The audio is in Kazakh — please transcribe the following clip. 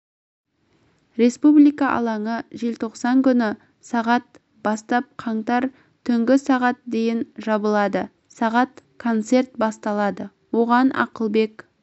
республика алаңы желтоқсан күні сағат бастап қаңтар түнгі сағат дейін жабылады сағат концерт басталады оған ақылбек